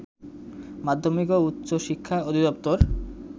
মাধ্যমিক ও উচ্চ শিক্ষা অধিদপ্তর